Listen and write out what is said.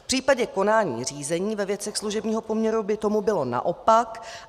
V případě konání řízení ve věcech služebního poměru by tomu bylo naopak.